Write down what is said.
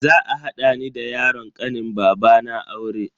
Za a hada ni da yaron kanin babana aure.